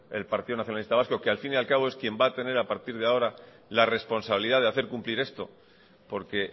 el partido nacionalista vasco que al fin y al cabo es quien va a tener a partir de ahora la responsabilidad de hacer cumplir esto porque